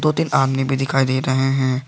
दो तीन आदमी भी दिखाई दे रहे हैं।